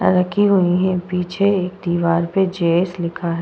रखी हुई है। पीछे एक दीवार पे जे.एस. लिखा है।